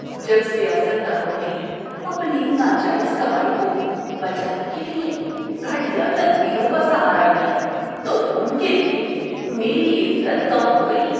جب سیاست دانوں نے اپنی ناجائز کمائی کو بچانے کے لیے گھٹیا تدبیروں کا سہارا لیا تو ان کے لیے میری عزت کم ہو گئی۔